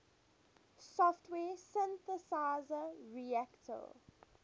software synthesizer reaktor